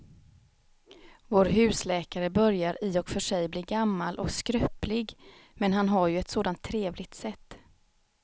Vår husläkare börjar i och för sig bli gammal och skröplig, men han har ju ett sådant trevligt sätt!